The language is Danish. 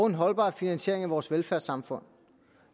en holdbar finansiering af vores velfærdssamfund